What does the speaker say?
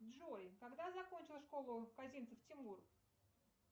джой когда закончил школу казинцев тимур